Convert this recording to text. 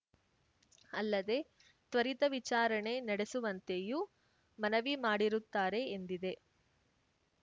ಅಲ್ಲದೆ ತ್ವರಿತ ವಿಚಾರಣೆ ನಡೆಸುವಂತೆಯೂ ಮನವಿ ಮಾಡಿರುತ್ತಾರೆ ಎಂದಿದೆ